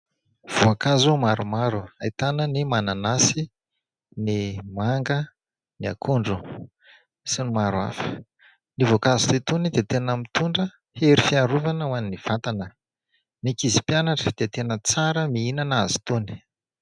Voankazo maromaro. Ahitana ny mananasy, ny manga, ny akondro sy ny maro hafa. Ny voankazo toa itony dia tena mitondra hery fiarovana ho any vatana. Ny ankizy mpianatra dia tena tsara mihinana azy itony.